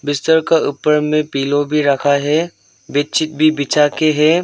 बिस्तर का ऊपर में पिलो भी रखा है बेडशीट भी बिछा के है।